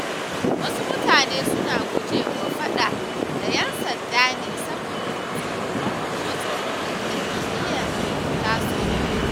Wasu mutanen suna gujewa faɗa da ƴan sanda ne saboda tsoron matsalolin da ka iya tasowa.